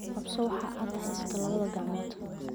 Ku qabso waxa aad haysato labada gacmood.